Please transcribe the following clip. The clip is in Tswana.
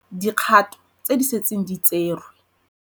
Dikgato tse di setseng di tserwe.